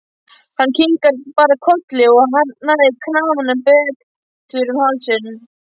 Hann kinkar bara kolli og hagræðir kraganum betur um hálsinn.